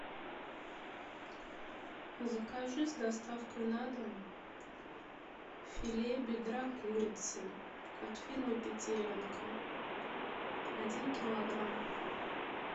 закажи с доставкой на дом филе бедра курицы от фирмы петелинка один килограмм